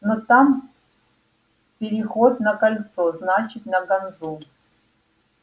но там переход на кольцо значит на ганзу